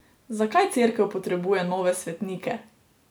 Zakaj Cerkev potrebuje nove svetnike?